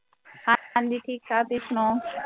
ਹਾਂਜੀ ਠੀਕ ਠਾਕ ਤੁਸੀਂ ਸੁਣਾਓ।